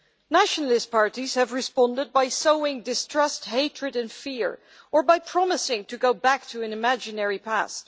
Nationalist parties have responded by sowing distrust, hatred and fear, or by promising to go back to an imaginary past.